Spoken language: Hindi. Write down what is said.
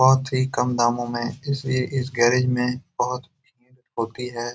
बोहोत ही कम दामों में इस इस गैरेज में बोहोत होती है।